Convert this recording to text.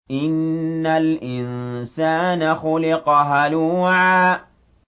۞ إِنَّ الْإِنسَانَ خُلِقَ هَلُوعًا